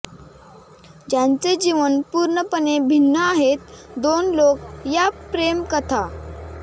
ज्यांचे जीवन पूर्णपणे भिन्न आहेत दोन लोक या प्रेम कथा